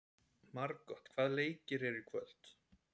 Margot, hvaða leikir eru í kvöld?